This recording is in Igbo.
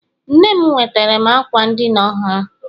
Nne m nwetara m ákwà ndina ọhụrụ.